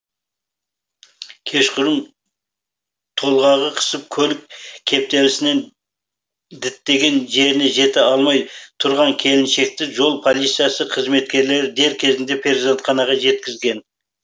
кешқұрым толғағы қысып көлік кептелісінен діттеген жеріне жете алмай тұрған келіншекті жол полициясы қызметкерлері дер кезінде перзентханаға жеткізген